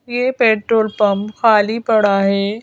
ये petrol pump खाली पड़ा है।